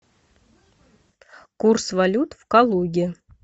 курс валют в калуге